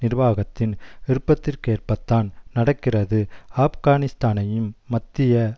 நிர்வாகத்தின் விருப்பிற்கேற்பத்தான் நடக்கிறது ஆப்கானிஸ்தானையும் மத்திய